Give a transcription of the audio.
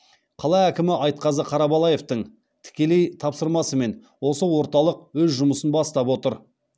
қала әкімі айтқазы қарабалаевтың тікелей тапсырмасымен осы орталық өз жұмысын бастап отыр